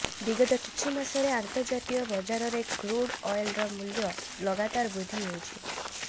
ବିଗତ କିଛି ମାସରେ ଅନ୍ତର୍ଜାତୀୟ ବଜାରରେ କ୍ରୁଡ଼ ଅଲଏର ମୂଲ୍ୟ ଲଗାତାର ବୃଦ୍ଧି ହେଉଛି